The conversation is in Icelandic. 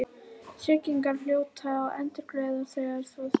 Tryggingarnar hljóta að endurgreiða þegar svona stendur á.